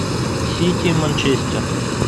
сити манчестер